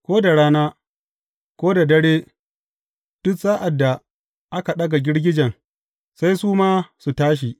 Ko da rana, ko da dare, duk sa’ad da aka ɗaga girgijen, sai su ma su tashi.